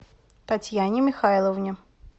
татьяне михайловне